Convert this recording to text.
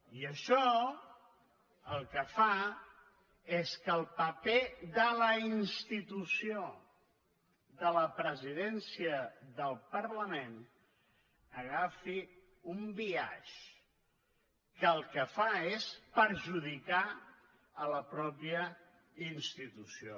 i això el que fa és que el paper de la institució de la presidèn·cia del parlament agafi un biaix que el que fa és perju·dicar la mateixa institució